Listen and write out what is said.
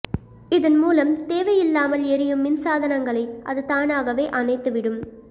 இதன் மூலம் தேவையில்லாமல் எரியும் மின்சாதனங்களை அது தானாகவே அணைத்துவிடும்